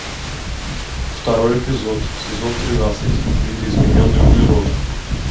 второй эпизод сезон тринадцать видоизмененный углерод